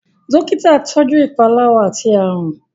Dọ́kítà tọjú ìpalára àti àrùn.